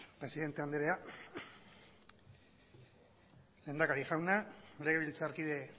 presidente anderea lehendakari jauna legebiltzarkide